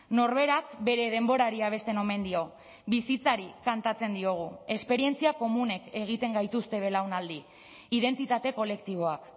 norberak bere denborari abesten omen dio bizitzari kantatzen diogu esperientzia komunek egiten gaituzte belaunaldi identitate kolektiboak